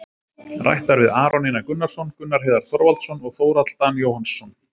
Rætt var við Aron Einar Gunnarsson, Gunnar Heiðar Þorvaldsson og Þórhall Dan Jóhannsson,